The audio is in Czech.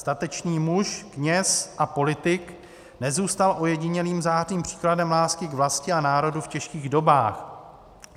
Statečný muž, kněz a politik nezůstal ojedinělým zářným příkladem lásky k vlasti a národu v těžkých dobách.